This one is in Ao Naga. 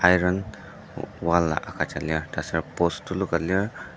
iron wall a agüja lir taser post tuluka lir.